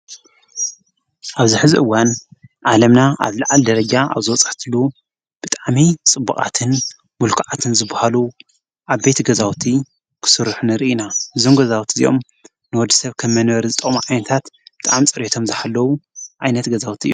ኣብዚ ሕዚ እዋን ዓለምና ኣብ ዝላዓለ ደረጃ ኣብ ዝበፀሐትሉ ብጠዓሚ ፅቡቃትን ሙልኩዓትን ዝባሃሉ ዓበይቲ ገዛውቲ ክስርሑ ንርኢ ኢና ።ርኢና እዞም ገዛውቲ እዝኦም ንወዲ ሰብ ከም መነበር ዝጠቅሙ ዓይንታት ብጣዓሚ ጸርዮቶም ዝሃለዉ ኣይነት ገዛውቲ እዩ።